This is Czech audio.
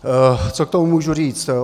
Co k tomu můžu říct?